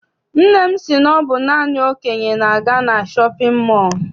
Nna m si na ọ bụ naanị ndị okenye na-aga na shọpịn mọọ.